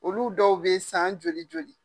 Olu dɔw be yen san joli joli.